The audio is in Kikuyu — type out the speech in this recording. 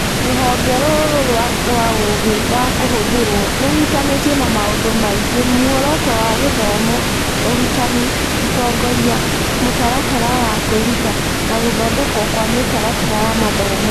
Rũhonge rũrũ rwa ũũgĩ wa kũhũthĩrũo rũhutanĩtie na maũndũ megiĩ muoroto wa gĩthomo, ũrutani, ũtongoria, mũtaratara wa kwĩruta, na gũthondekwo kwa mĩtaratara ya mathomo.